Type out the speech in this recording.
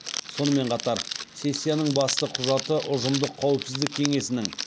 сонымен қатар сессияның басты құжаты ұжымдық қауіпсіздік кеңесінің